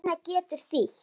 Tinna getur þýtt